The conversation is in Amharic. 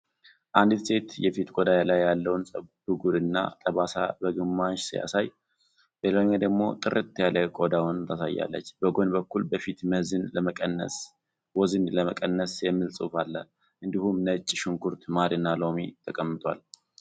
አንዲት ሴት የፊት ቆዳ ላይ ያለውን ብጉር እና ጠባሳ በግማሽ ሲያሳይ፣ በሌላኛው ደግሞ ጥርት ያለ ቆዳዋን ታሳያለች። በጎን በኩል "በፊት ወዝን ለመቀነስ" የሚል ጽሑፍ አለ። እንዲሁም ነጭ ሽንኩርት፣ ማርና ሎሚ ተቀመጠዋል።